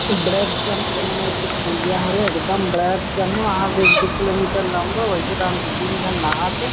बड़ेक जान कोनो मेर के पुलियाँ हरे एकदम बड़ेक जान हे वहादे एक दु किलो मीटर लांबा वहीदे दो तीन झन नहात हे। --